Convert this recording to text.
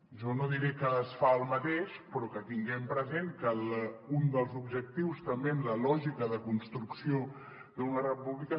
jo no diré que es fa el mateix però tinguem present que un dels objectius també en la lògica de construcció d’una república